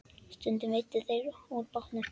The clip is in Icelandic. Stundum veiddu þeir úr bátnum.